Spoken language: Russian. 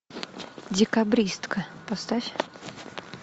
декабристка поставь